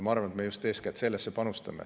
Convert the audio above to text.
Ma arvan, et me panustame eeskätt sellesse.